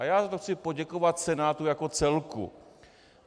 A já za to chci poděkovat Senátu jako celku.